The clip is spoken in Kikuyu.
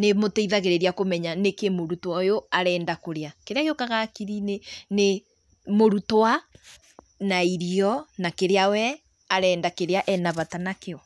nĩmũteithagĩrĩria kũmenya nĩkĩ mũrutwo ũyũ arenda kũrĩa. Kĩrĩa gĩũkaga hakiri-inĩ nĩ mũrutwa na irio, na kĩrĩa we arenda, kĩrĩa ena bata nakĩo.